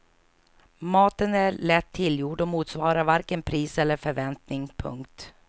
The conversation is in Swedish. Maten är lätt tillgjord och motsvarar varken pris eller förväntning. punkt